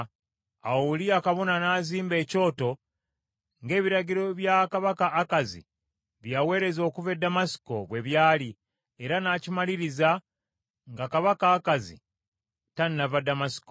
Awo Uliya kabona n’azimba ekyoto, ng’ebiragiro bya kabaka Akazi bye yaweereza okuva e Ddamasiko bwe byali, era n’agimaliriza nga kabaka Akazi tannava Ddamasiko.